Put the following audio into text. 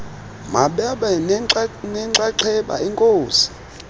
mababe nenxaxheba enkosi